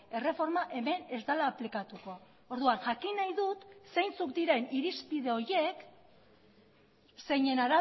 erreforma hemen ez dela aplikatuko orduan jakin nahi dut zeintzuk diren irizpide horiek zeinen